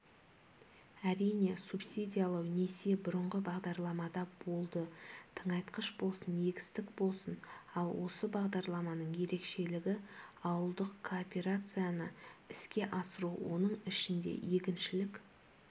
әрине субсидиялау несие бұрынғы бағдарламада болды тыңайтқыш болсын егістік болсын ал осы бағдарламаның ерекшелігі ауылдық кооперацияны іске асыру оның ішінде егіншілік